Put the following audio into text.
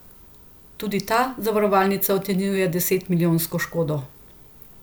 Tudi ta zavarovalnica ocenjuje deset milijonsko škodo.